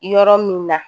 Yɔrɔ min na